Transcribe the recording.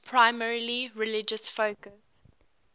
primarily religious focus